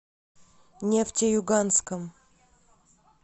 нефтеюганском